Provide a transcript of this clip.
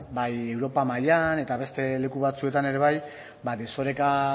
ba europa mailan eta beste leku batzuetan ere bai ba desoreka